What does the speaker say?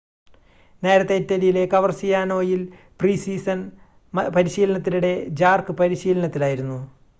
നേരത്തെ ഇറ്റലിയിലെ കവർസിയാനോയിൽ പ്രീ-സീസൺ പരിശീലനത്തിനിടെ ജാർക്ക് പരിശീലനത്തിലായിരുന്നു